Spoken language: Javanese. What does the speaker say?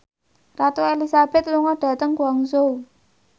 Ratu Elizabeth lunga dhateng Guangzhou